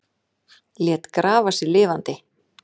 Lét grafa sig lifandi